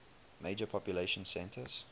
major population centers